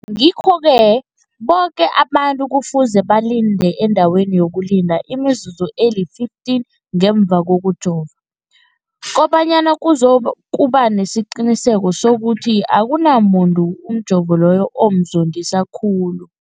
Ngikho-ke boke abantu kufuze balinde endaweni yokulinda imizuzu eli-15 ngemva kokujova, koba nyana kuzokuba nesiqiniseko sokuthi akunamuntu umjovo loyo omzondisa khulu.